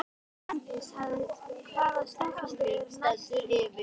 Branddís, hvaða stoppistöð er næst mér?